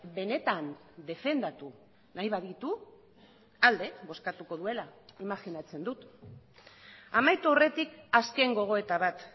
benetan defendatu nahi baditu alde bozkatuko duela imajinatzen dut amaitu aurretik azken gogoeta bat